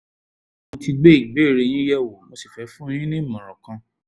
mo ti gbé ìbéèrè yín yẹ̀wò mo sì fẹ́ fún yín ní ìmọ̀ràn kan